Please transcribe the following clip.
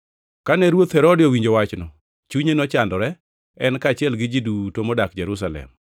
Kane Ruoth Herode owinjo wachno, chunye nochandore, en kaachiel gi ji duto modak Jerusalem.